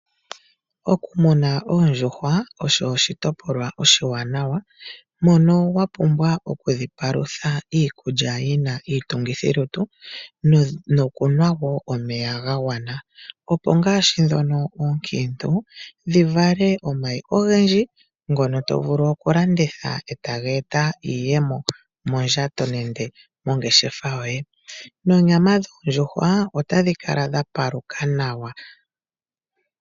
Okumuna pndjuhwa osho ishitopolwa oshiwanawa, mono wa pumbwa okudhi palutha iikulya yi na iitungithilutu noku nwa woo omeya ga gwana. Opo ongaashi dhoka oonkiintu dhi vale omayi ogendji ngono tovulu okulanditha ee taga eta iiyemo mondjato nenge mongeshefa yoye, nonyama dhoodjuhwa otadhi kala ya paluka nawa